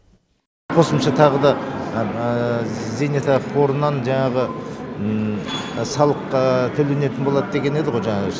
қосымша тағы да зейнетақы қорынан жаңағы салық төленетін болады деген еді ғой жаңағы